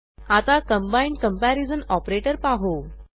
आता combined comparison operator पाहू